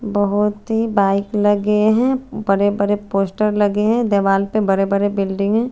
बहुत ही बाइक लगे है बड़े बड़े पोस्टर लगे है दीवाल पे बड़े बड़े बुल्डिंग --